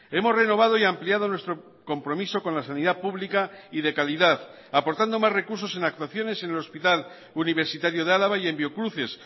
hemos renovado y ampliado nuestro compromiso con la sanidad pública y de calidad aportando más recursos en actuaciones en el hospital universitario de álava y en biocruces